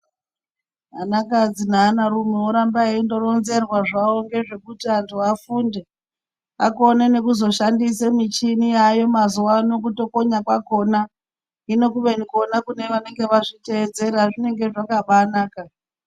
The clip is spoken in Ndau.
Ana kadzi neana rume oramba eironzerwa zvawo ngezvekuti antu afunde akone nekuzoshandisa michini yayo mazuva ano kutokonya kwakona hino kune vanenge vatedzera zvinenge zvakabanaka.